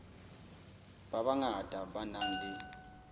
ba bangata ba nang le